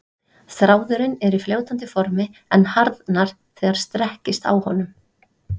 Þráðurinn er í fljótandi formi en harðnar þegar strekkist á honum.